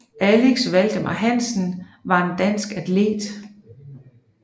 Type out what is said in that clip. Axel Valdemar Hansen var en dansk atlet